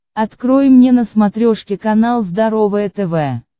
открой мне на смотрешке канал здоровое тв